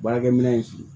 Baarakɛminɛn in f'i ye